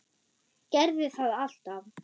Gerði það alltaf.